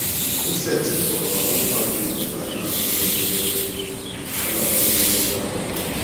Josette kọwara nkwa dị ebube a na-ahụ n’edemede a na-ahụ n’edemede ahụ.